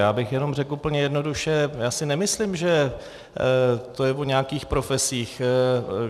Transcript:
Já bych jenom řekl úplně jednoduše, já si nemyslím, že to je o nějakých profesích.